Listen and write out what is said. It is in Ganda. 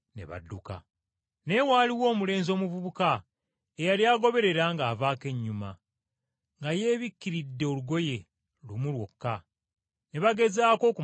Naye waaliwo omulenzi omuvubuka eyali agoberera ng’avaako ennyuma, nga yeebikkiridde olugoye, lumu lwokka, ne baagezaako okumukwata,